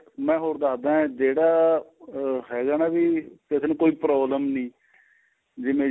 ਮੈਂ ਹੋਰ ਦੱਸਦਾ ਏ ਜਿਹੜਾ ਅਹ ਹੈਗਾ ਨਾ ਵੀ ਕਿਸੇ ਨੂੰ ਕੋਈ problem ਨਹੀਂ ਜਿਵੇਂ